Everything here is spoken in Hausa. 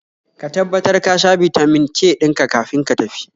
Ka tabbatar kasha Bitamin K dinka kafin ka tafi